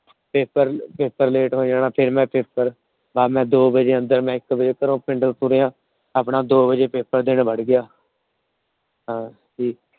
PaperPaperLate ਹੋ ਜਾਣਾ। ਫਿਰ ਮੈ Paper ਮੈ ਦੋ ਵਜੇ ਇੱਕ ਵਜੇ ਘਰੋਂ ਪਿੰਡੋ ਤੁਰਿਆ ਆਪਣਾ ਦੋ ਵਜੇ Paper ਦੇਣ ਵੜ ਗਿਆ। ਹਾਂ ਠੀਕ